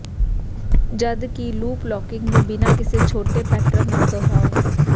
ਜਦਕਿ loop locking ਨੂੰ ਬਿਨਾ ਕਿਸੇ ਛੋਟੇ ਪੈਟਰਨ ਨਾਲ ਦੁਹਰਾਓ